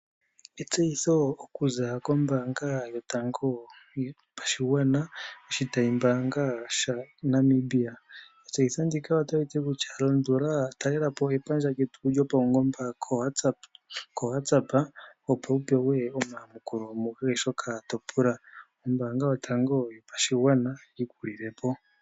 Etseyitho okuza kombaanga yotango yopashigwana oshitayi mbaanga shaNamibia, etseyitho ndika ota liti kutya talelapo epandja lyetu lyopaungomba koWhatsapp opo wupewe omayamukulo mukehe shoka topula, ombaanga yotango yopashigwana yi kulile po.